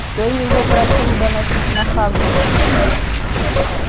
кто его просил доносить на хагрида